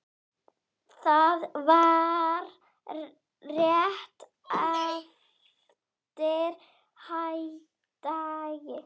Það var rétt eftir hádegi.